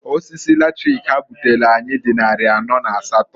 Osisi latrik ha butelu anyị dị nnarị anọ na asatọọ.